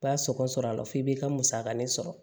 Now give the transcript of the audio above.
B'a sɔngɔ sɔrɔ a la fo i b'i ka musakanin sɔrɔ